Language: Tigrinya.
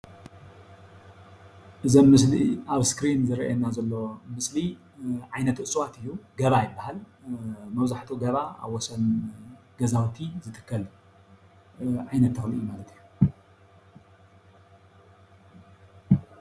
እዚ ምስሊ ኣብ እስክሪን ዝረአየና ዘሎ ምስሊ ዓይነት እፅዋት እዩ ገባ ይባሃል፣ መብዛሕትኡ ገባ ኣብ ወሰን ገዛውቲ ዝትከል ዓይነት ተክሊ እዩ ማለት እዩ፡፡